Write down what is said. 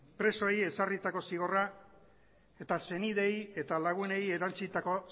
presoei ezarritako zigorra eta senideei eta lagunei erantsitako